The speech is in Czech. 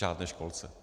Žádné školce.